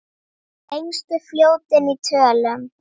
Lengstu fljótin í tölum